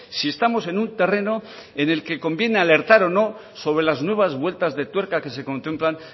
si estamos en un terreno en el que conviene alertar o no sobre las nuevas vueltas de tuerca que se contemplan